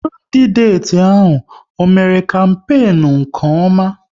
Kandideti ahụ, ọ mère kampenu nke ọma?